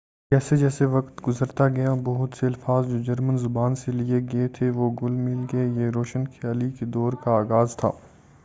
جیسے جیسے وقت گزرتا گیا بہت سے الفاظ جو جرمن زبان سے لیے گئے تھے وہ گھل مل گئے یہ روشن خیالی کے دور کا آغاز تھا